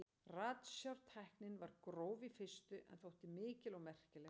Ratsjártæknin var gróf í fyrstu en þótti þó mikil og merkileg framför.